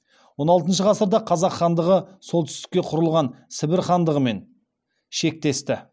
он алтыншы ғасырда қазақ хандығы солтүстікте құрылған сібір хандығымен шектесті